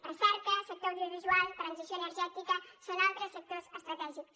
recerca sector audiovisual transició energètica són altres sectors estratègics